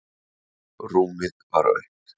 Rúmið var autt.